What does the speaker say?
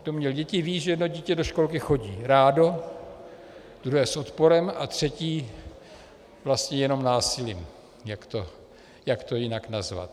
Kdo měl děti, ví, že jedno dítě do školky chodí rádo, druhé s odporem a třetí vlastně jenom násilím - jak to jinak nazvat?